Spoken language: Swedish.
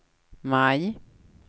maj